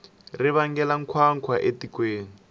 ri vangela nkhwankhwa etikweni